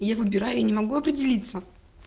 я выбираю не могу определиться